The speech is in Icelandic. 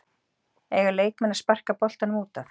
Eiga leikmenn að sparka boltanum útaf?